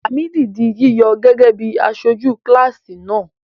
Làmídì di yíyọ gẹ́gẹ́ bí aṣojú kíláàsì náà.